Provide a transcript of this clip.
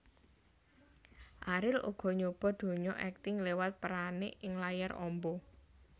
Ariel uga nyoba donya akting lewat peranné ing layar amba